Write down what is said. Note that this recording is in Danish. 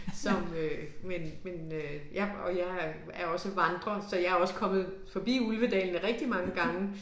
Som øh men men øh ja og jeg er er også vandrer så jeg også kommet forbi Ulvedalene rigtig mange gange